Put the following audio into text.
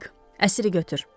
Dik, əsiri götür.